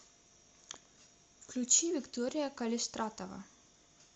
включи виктория калистратова